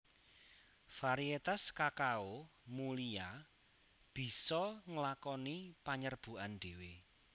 Variétas kakao mulia bisa nglakoni panyerbukan dhéwé